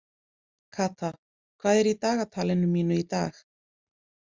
Kata, hvað er í dagatalinu mínu í dag?